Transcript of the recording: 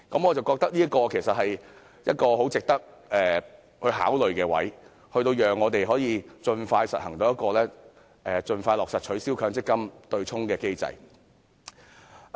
我覺得這其實是很值得考慮的做法，讓我們可以盡快落實取消強積金對沖機制。